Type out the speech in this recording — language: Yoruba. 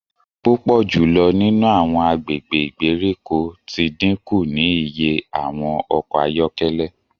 Pupọ julọ nínú awọn agbègbè ìgbèríko ti dínkù ní ìyè awọn ọkọ ayọkẹlẹ